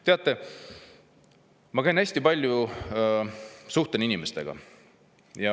Teate, ma käin hästi palju ringi ja suhtlen inimestega.